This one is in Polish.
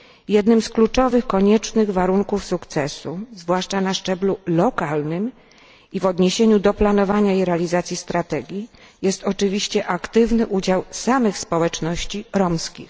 Jednym z kluczowych koniecznych warunków sukcesu, zwłaszcza na szczeblu lokalnym i w odniesieniu do planowania i realizacji strategii, jest oczywiście aktywny udział samych społeczności romskich.